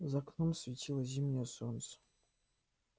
за окном светило зимнее солнце